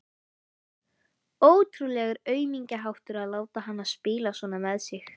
Ótrúlegur aumingjaháttur að láta hana spila svona með sig.